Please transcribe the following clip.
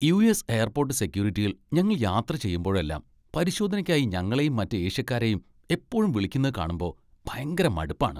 US. Airport സെക്യൂരിറ്റിയിൽ ഞങ്ങൾ യാത്ര ചെയ്യുമ്പോഴെല്ലാം പരിശോധനയ്ക്കായി ഞങ്ങളെയും മറ്റ് ഏഷ്യക്കാരെയും എപ്പോഴും വിളിക്കുന്ന കാണുമ്പോ ഭയങ്കര മടുപ്പാണ്.